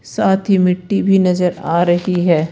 साथ ही मिट्टी भी नजर आ रही है।